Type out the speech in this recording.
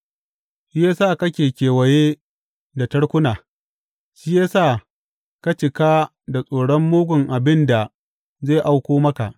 Shi ya sa kake kewaye da tarkuna, shi ya sa ka cika da tsoron mugun abin da zai auko maka.